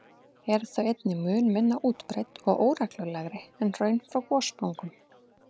eru þau einnig mun minna útbreidd og óreglulegri en hraun frá gossprungum.